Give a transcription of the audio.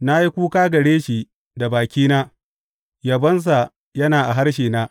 Na yi kuka gare shi da bakina; yabonsa yana a harshena.